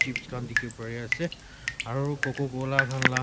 dikhi pari ase aro cococola khan la.